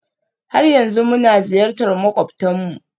har yanzu muna ziyartar makwabtanmu?